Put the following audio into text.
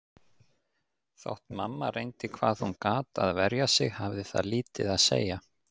Þótt mamma reyndi hvað hún gat að verja sig hafði það lítið að segja.